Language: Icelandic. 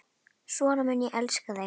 Svona mun ég elska þig.